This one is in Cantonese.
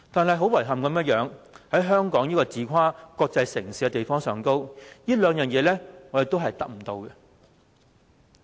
令人遺憾的是，在香港這個自誇為"國際城市"的地方，這兩樣也是"打工仔"得不到的。